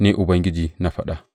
Ni Ubangiji na faɗa.